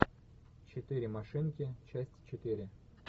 четыре машинки часть четыре